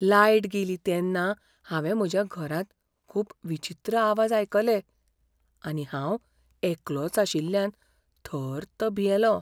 Light गेली तेन्ना हांवें म्हज्या घरांत खूब विचित्र आवाज आयकले आनी हांव एकलोच आशिल्ल्यान थर्त भियेलों.